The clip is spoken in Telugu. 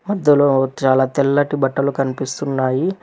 మద్దలో చాలా తెల్లటి బట్టలు కనిపిస్తున్నాయి.